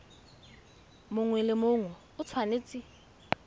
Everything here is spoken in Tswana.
mongwe le mongwe o tshwanetse